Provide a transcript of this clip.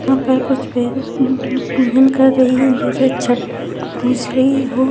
यहां पर कुछ पूजा कर रही है जैसे छट पूज रही है।